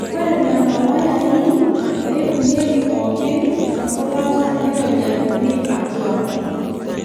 Ore Nena wayai neibung'ieki pookin nabokata neironyajini atua.